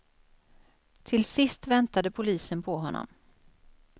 Till sist väntade polisen på honom.